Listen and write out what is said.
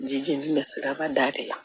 Ji jeni bɛ siraba da de kan